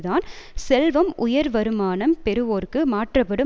தான் செல்வம் உயர் வருமானம் பெறுவோருக்கு மாற்றப்படும்